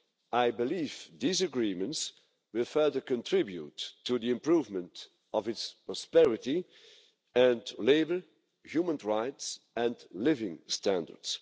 I believe these agreements will further contribute to the improvement of its prosperity, labour, human rights and living standards.